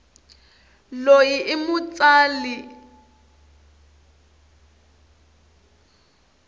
loyi imutsali lwativiwaka